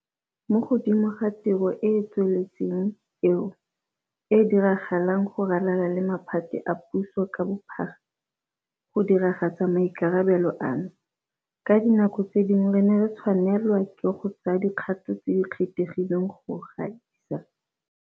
Mo godimo ga tiro e e tsweletseng eo e diragalang go ralala le maphata a puso ka bophara, go diragatsa maikarabelo ano, ka dinako tse dingwe re ne re tshwanelwa ke go tsaya dikgato tse di kgethegileng go gaisa.